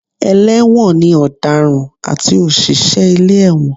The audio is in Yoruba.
Ẹlẹ́wọ̀n ni ọ̀daràn àti òṣìṣẹ́ ilé ẹ̀wọ̀n